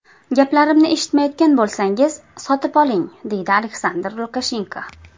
Gaplarimni eshitmayotgan bo‘lsangiz, sotib oling”, deydi Aleksandr Lukashenko.